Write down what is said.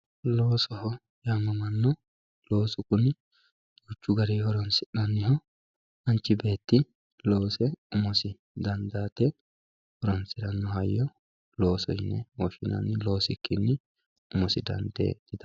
Loosoho yaamamano loosu kuni duuchu garini horonsinaniho manchi beeti loose umosi dandaate horonsirano hayyo loosoho yine woshinani loosikini umosi dandee diafa